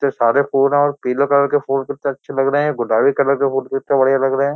कितते सारे फूल है और पीले कलर के फूल कितते अच्छे लग रहे हैं गुलाबी कलर के फूल कितते बढ़िया लग रहे हैं।